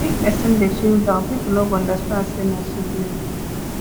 if pesin dey feel down pipo no go understand sey na sickness